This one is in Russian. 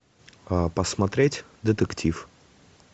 посмотреть детектив